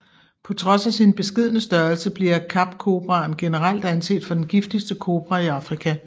På trods af sin beskedne størrelse bliver Kapkobraen generelt anset for den giftigste kobra i Afrika